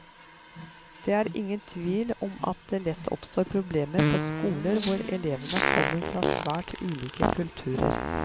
Det er ingen tvil om at det lett oppstår problemer på skoler hvor elevene kommer fra svært ulike kulturer.